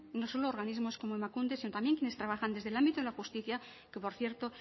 no solo organismos como emakunde sino también quienes trabajan desde el ámbito de la justicia que por cierto